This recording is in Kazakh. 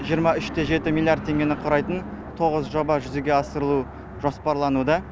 жиырма үш те жеті миллиард теңгені құрайтын тоғыз жоба жүзеге асырылуы жоспарлануда